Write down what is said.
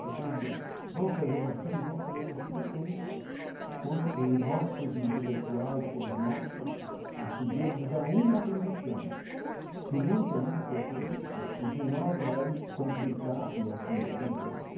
Está tudo bem vamos fazer assim, vamos fazer assim com com os nossos intelectuais, com os nossos estudiosos a uma condição que não tenha a cor política, porque senão vai complicar e afundar de novo como.